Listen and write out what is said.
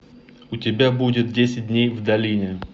у тебя будет десять дней в долине